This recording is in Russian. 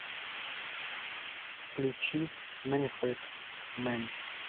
включи мэнфрэд мэн